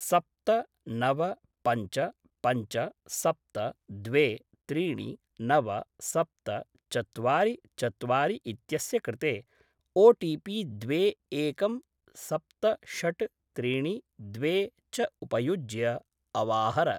सप्त नव पञ्च पञ्च सप्त द्वे त्रीणि नव सप्त चत्वारि चत्वारि इत्यस्य कृते ओटिपि द्वे एकं सप्त षट् त्रीणि द्वे च उपयुज्य अवाहर